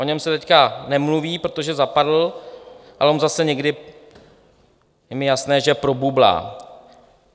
O něm se teď nemluví, protože zapadl, ale on zase někdy, je mi jasné, že probublá.